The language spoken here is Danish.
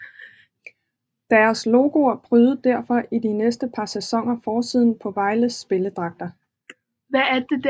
Deres logoer prydede derfor i de næste par sæsoner forsiden på Vejles spillerdragter